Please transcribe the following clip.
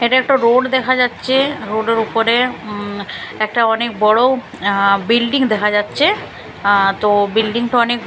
এখানে একটা রোড দেখা যাচ্চে রোড -এর ওপরে উম একটা অনেক বড়ো আঃ বিল্ডিং দেখা যাচ্চে আঃ তো বিল্ডিং -টা অনেক--